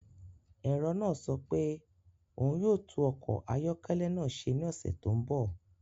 Ẹ̀rọ náà sọ pé òun yóò tún ọkọ̀ ayọ́kẹ́lẹ́ náà ṣe ní ọ̀sẹ̀ tó ń bọ̀.